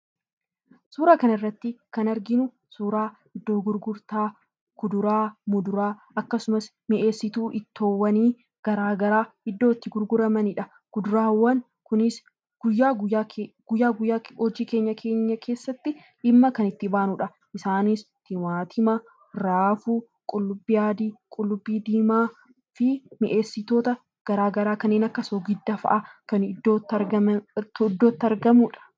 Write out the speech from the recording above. Suuraa kana irratti kan arginu bakka muduraa fi fuduraa akkasumas bakka mi'eessituwwaan ittoo addaa addaa ti. Mi'eessituawwan jireenya keenya guyyaa guyyaa keessatti dhimma kan itti baanuudha. Isaannis Timmaatima, Raafuu, Qullubbii diimaa fi Qullubbii adii fa'i.